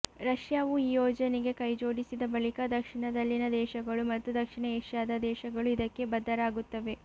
ರಷ್ಯಾವು ಈ ಯೋಜನೆಗೆ ಕೈಜೋಡಿಸಿದ ಬಳಿಕ ದಕ್ಷಿಣದಲ್ಲಿನ ದೇಶಗಳು ಮತ್ತು ದಕ್ಷಿಣ ಏಷ್ಯಾದ ದೇಶಗಳು ಇದಕ್ಕೆ ಬದ್ಧರಾಗುತ್ತವೆ